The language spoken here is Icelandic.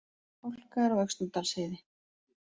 Hálka er á Öxnadalsheiði